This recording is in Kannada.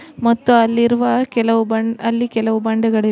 ಮತ್ತು ಅಲ್ಲಿರುವ ಕೆಲವು ಬನ್ ಅಲ್ಲಿ ಕೆಲವು ಬಂಡೆಗಳಿವೆ.